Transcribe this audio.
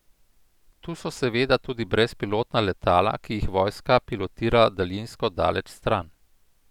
Tu so seveda tudi brezpilotna letala, ki jih vojska pilotira daljinsko daleč stran.